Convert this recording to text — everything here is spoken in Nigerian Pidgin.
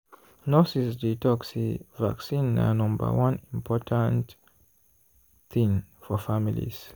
nurses dey talk say vaccine na number one important thing for families.